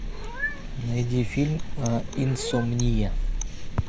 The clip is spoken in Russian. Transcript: найди фильм инсомния